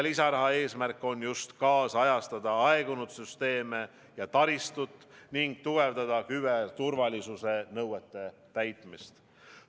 Lisaraha eesmärk on kaasajastada aegunud süsteeme ja taristut ning tugevdada küberturvalisuse nõuete täitmist.